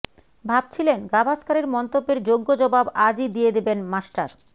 ভাবছিলেন গাভাস্করের মন্তব্যের যোগ্য জবাব আজই দিয়ে দেবেন মাস্টার